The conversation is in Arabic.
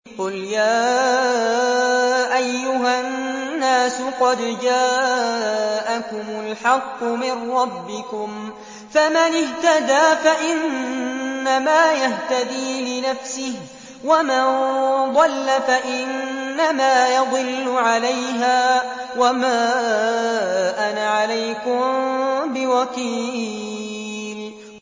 قُلْ يَا أَيُّهَا النَّاسُ قَدْ جَاءَكُمُ الْحَقُّ مِن رَّبِّكُمْ ۖ فَمَنِ اهْتَدَىٰ فَإِنَّمَا يَهْتَدِي لِنَفْسِهِ ۖ وَمَن ضَلَّ فَإِنَّمَا يَضِلُّ عَلَيْهَا ۖ وَمَا أَنَا عَلَيْكُم بِوَكِيلٍ